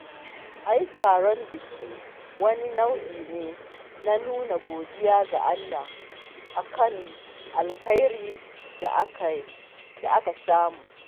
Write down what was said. Ai taron biki wani nau'i ne na nuna godiya ga Allah a kan alkhairin da aka samu